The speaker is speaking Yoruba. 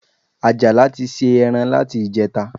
Àjàlá ti se ẹran láti ìjẹta